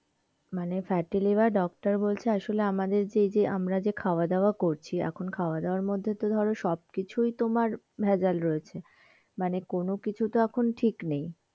মানে fatty liver doctor বলছে আসলে আমাদের যে আমরা যে খাওয়াদাওয়া করছি খন খাওয়া দাওয়া মধ্যে ধর সব কিছুই তোমার ভেজাল রয়েছে, মানে কোনো কিছু তো এখন ঠিক নেই.